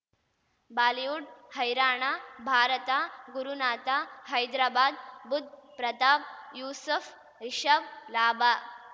Bollywood ಹೈರಾಣ ಭಾರತ ಗುರುನಾಥ ಹೈದ್ರಾಬಾದ್ ಬುಧ್ ಪ್ರತಾಪ್ ಯೂಸುಫ್ ರಿಷಬ್ ಲಾಭ